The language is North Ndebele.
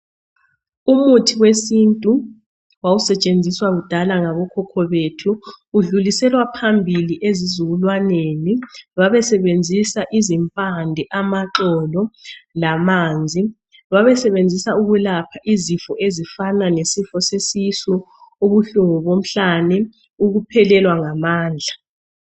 Umuthi wesintu wawusetshenziswa kudala ngabokhokho bethu, udluliselwa phambili ezizukulwaneni, babesebenzisa izimpande, amaxolo, lamanzi. Babesebenzisa ukulapha izifo ezifana lesifo sesisu, ubuhlungu bomhlane, ukuphelelwa ngamandla.